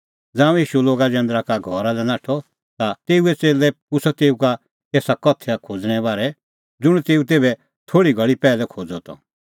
ज़ांऊं ईशू लोगा जैंदरा का घरा लै नाठअ ता तेऊए च़ेल्लै पुछ़अ तेऊ का एऊ उदाहरणे बारै ज़ुंण तेऊ तेभै थोल़ी घल़ी पैहलै खोज़अ त